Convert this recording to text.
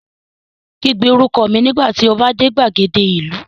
Kígbe orúkọ mi nígbà tí o bá dé gbàgede ìlú